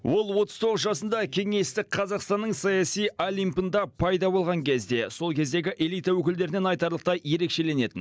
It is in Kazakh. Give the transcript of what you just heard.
ол отыз тоғыз жасында кеңестік қазақстанның саяси олимпында пайда болған кезде сол кездегі элита өкілдерінен айтарлықтай ерекшеленетін